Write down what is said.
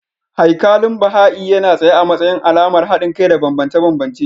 Haikalin Baha'i yana tsaye a matsayin alamar haɗin kai da bambance-bambance.